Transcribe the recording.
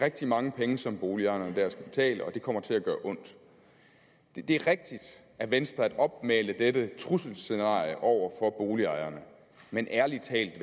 rigtig mange penge som boligejerne der skal betale og det kommer til at gøre ondt det er rigtigt af venstre at opmale dette trusselscenarie over for boligejerne men ærlig talt